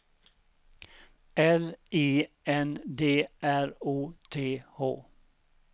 L I N D R O T H